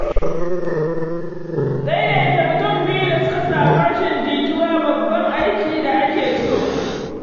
Daidaita mutum biyu da suka samu rashin jituwa babban aikin da ake so.